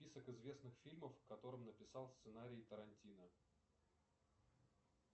список известных фильмов к которым написал сценарий тарантино